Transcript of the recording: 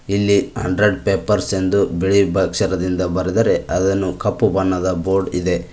ಇಲ್ಲಿ hundred pipers ಎಂದು ಬಿಳಿ ಅಕ್ಷರದಿಂದ ಬರೆದರೆ ಅದನ್ನು ಕಪ್ಪು ಬಣ್ಣದ ಬೋರ್ಡ್ ಇದೆ.